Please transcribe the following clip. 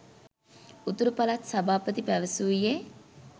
උතුරු පළාත් සභාපති පැවසුයේ